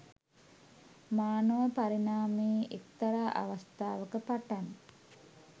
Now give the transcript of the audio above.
මානව පරිණාමයේ එක්තරා අවස්ථාවක පටන්